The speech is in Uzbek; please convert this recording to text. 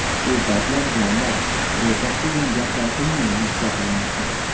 U paytlar jannat, do‘zax degan gaplar umuman ishlatilmasdi.